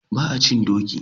Ba a cin doki.